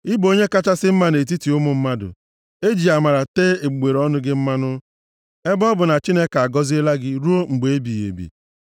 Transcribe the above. I bụ onye kachasị mma nʼetiti ụmụ mmadụ, e ji amara tee egbugbere ọnụ gị mmanụ, ebe ọ bụ na Chineke agọziela gị ruo mgbe ebighị ebi.